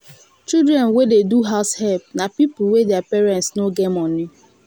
children wey dey do househelp na pipo wey their parents no get money